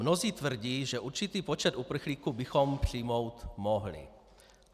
Mnozí tvrdí, že určitý počet uprchlíků bychom přijmout mohli.